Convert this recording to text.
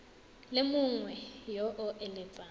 le mongwe yo o eletsang